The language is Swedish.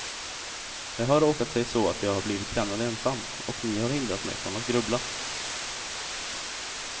Det har råkat sig så att jag har blivit lämnad ensam, och ni har hindrat mig från att grubbla.